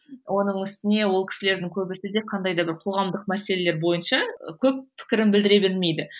оның үстіне ол кісілердің көбісі де қандай бір қоғамдық мәселелер бойынша көп пікірін білдіре бермейді